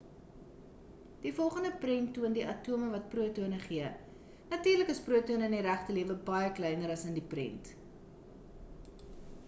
die volgende prent toon die atome wat protone afgee natuurlik is protone in die regte lewe baie kleiner as in die prent